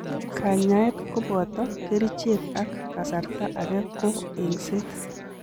Kanyaet koboto kerichek ak kasarta age ko eng'set.